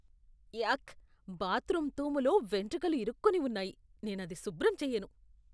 యాక్! Bathroom తూములో వెంట్రుకలు ఇరుక్కొని ఉన్నాయి. నేనది శుభ్రం చెయ్యను.